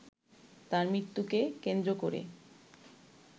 তাঁর মৃত্যুকে কেন্দ্র করে